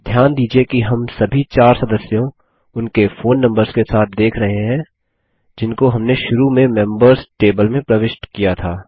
ध्यान दीजिये कि हम सभी चार सदस्यों उनके फ़ोन नम्बर्स के साथ देख रहें है जिनको हमने शुरू में मेंबर्स टेबल में प्रविष्ट किया था